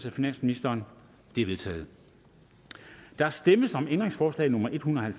af finansministeren de er vedtaget der stemmes om ændringsforslag nummer en hundrede og